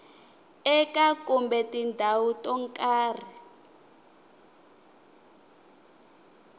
eka kumbe tindhawu to karhi